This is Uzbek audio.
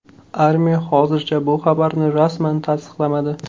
Armiya hozircha bu xabarni rasman tasdiqlamadi.